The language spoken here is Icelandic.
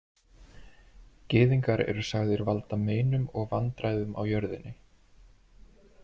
Gyðingar eru sagðir valda meinum og vandræðum á jörðinni.